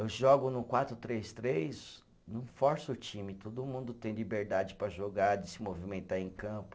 Eu jogo no quatro, três, três, não força o time, todo mundo tem liberdade para jogar, de se movimentar em campo.